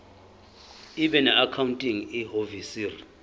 ibe noaccounting ihhovisir